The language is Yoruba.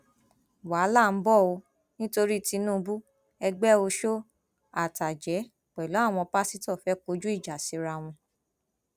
wàhálà ń bọ ọ nítorí tìǹbù ẹgbẹ ọṣọ àtàjẹ pẹlú àwọn pásítọ fẹẹ kọjú ìjà síra wọn